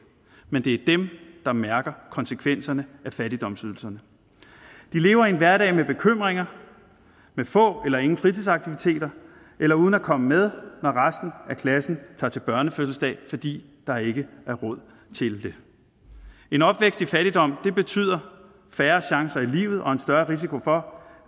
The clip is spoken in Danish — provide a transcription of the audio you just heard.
men det er dem der mærker konsekvenserne af fattigdomsydelserne de lever i en hverdag med bekymringer med få eller ingen fritidsaktiviteter eller uden at komme med når resten af klassen tager til børnefødselsdag fordi der ikke er råd til det en opvækst i fattigdom betyder færre chancer i livet og en større risiko for